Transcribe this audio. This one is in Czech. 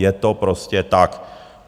Je to prostě tak.